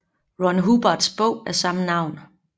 Ron Hubbards bog af samme navn